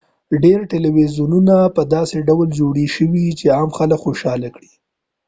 ډیر تلویزیونونه په داسې ډول جوړي شوي چې عام خلک خوشحاله کړي